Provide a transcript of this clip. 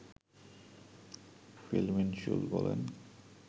feel Minshull বলেন